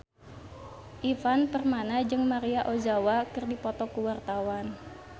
Ivan Permana jeung Maria Ozawa keur dipoto ku wartawan